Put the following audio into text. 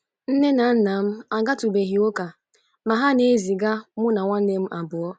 Nne na nna m agatụbeghị ụka, ma ha na-eziga mụ na ụmụnne m abụọ.